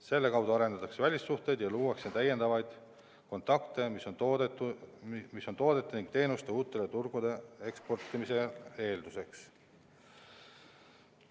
Selle kaudu arendatakse välissuhteid ja luuakse täiendavaid kontakte, mis on toodete ning teenuste uutele turgudele eksportimise eelduseks.